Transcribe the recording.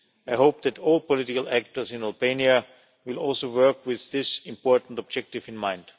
I hope that all political actors in Albania will also work with this important objective in mind.